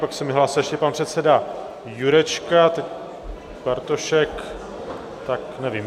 Pak se mi hlásil ještě pan předseda Jurečka, Bartošek, tak nevím...